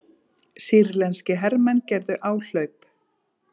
Sýrlenskir hermenn gerðu áhlaup